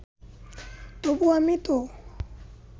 তবু আমি তো